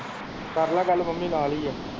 ਕਰਲਾ ਗੱਲ ਮੰਮੀ ਨਾਲ ਈ ਆ।